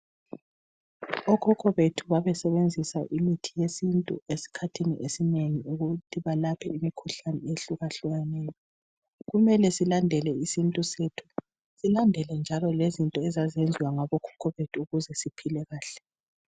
Okhokho bethu babesebenzisa imithi yesintu esikhathini esinengi ukuthi balaphe imikhuhlane ehlukahlukeneyo. Kumele silandele isintu sethu silandele njalo lezinto ezazenziwa ngabokhokho bethu ukuze siphile kahle.